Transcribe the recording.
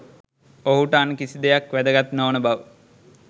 ඔහුට අන් කිසි දෙයක් වැදගත් නොවන බව